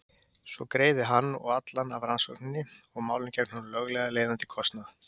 Svo greiði hann og allan af rannsókninni og málinu gegn honum löglega leiðandi kostnað.